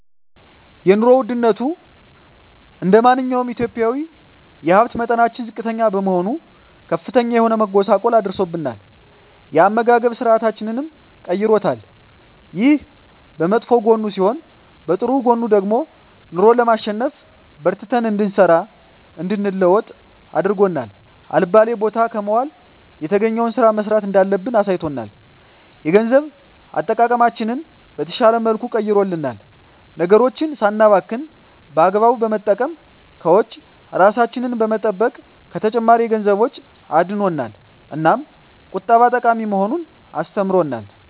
የኑሮ ወድነቱ እንደማንኛውም ኢትዮጵያዊ የሀብት መጠናችን ዝቅተኛ በመሆኑ ከፍተኛ የሆነ መጎሳቆል አድርሶብናል የአመጋገብ ስርአታችንንም ቀይሮታል። ይሄ በመጥፎ ጎኑ ሲሆን በጥሩ ጎኑ ደግሞ ኑሮን ለማሸነፍ በርትተን እንድንሰራ እንድንለወጥ አድርጎ አልባሌ ቦታ ከመዋል የተገኘዉን ስራ መስራት እንዳለብን አሳይቶናል። የገንዘብ አጠቃቀማችንን በተሻለ መልኩ ቀይሮልናል ነገሮችን ሳናባክን በአግባቡ በመጠቀም ከወጪ እራሳችንን በመጠበቅ ከተጨማሪ የገንዘብ ወጪ አድኖናል። እናም ቁጠባ ጠቃሚ መሆኑን አስተምሮናል።